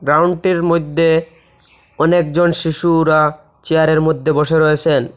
গাউন্টের মইধ্যে অনেকজন শিশুরা চেয়ারের মধ্যে বসে রয়েছেন।